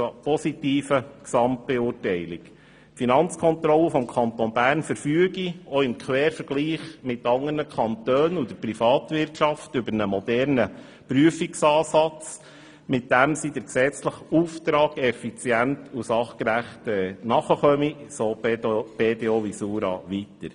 Die Finanzkontrolle des Kantons Bern verfüge – auch im Quervergleich mit anderen Kantonen und der Pri vatwirtschaft – über einen modernen Prüfansatz, mit dem sie dem gesetzlichen Auftrag effizient und sachgerecht nachkomme, so die BDO Visura weiter.